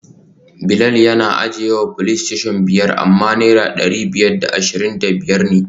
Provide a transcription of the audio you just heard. Bilal yana ajiyewa playstation biyar amma naira dari biyar da ashirin da biyar ne